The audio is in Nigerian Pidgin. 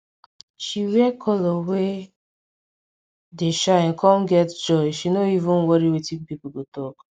she wear colour wey dey shine come get joy she no even worry wetin people go talk